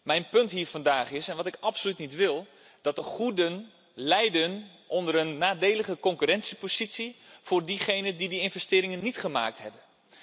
Mijn punt hier vandaag, wat ik absoluut niet wil, is dat de goeden lijden onder een nadelige concurrentiepositie voor diegenen die investeringen niet gemaakt hebben.